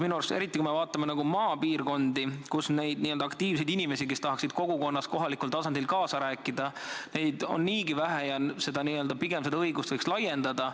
Minu arust, eriti kui me vaatame maapiirkondi, siis seal on n-ö aktiivseid inimesi, kes tahaksid kogukonnas, kohalikul tasandil kaasa rääkida, niigi vähe ja seda õigust võiks pigem laiendada.